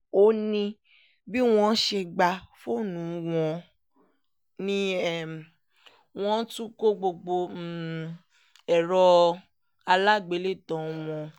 ó ní bí wọ́n ṣe gba fóònù wọn ni wọ́n tún kọ gbogbo ẹ̀rọ aláàgbélétan wọn